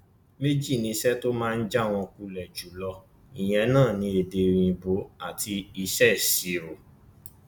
méjì ni iṣẹ tó máa ń já wọn kulẹ jù lọ ìyẹn náà ní èdè òyìnbó àti iṣẹ ìṣirò